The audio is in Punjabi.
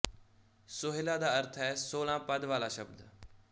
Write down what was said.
ਸੋਹਿਲਾ ਦਾ ਅਰਥ ਹੈ ਸੋਲ੍ਹਾਂ ਪਦੁ ਵਾਲਾ ਸ਼ਬਦ